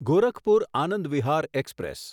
Gorakhpur Anand Vihar express